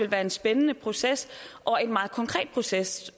være en spændende proces og en meget konkret proces